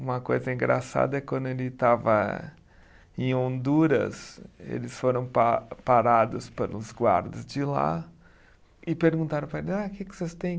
Uma coisa engraçada é quando ele estava em Honduras, eles foram pa parados pelos guardas de lá e perguntaram para ele, ah que que vocês têm?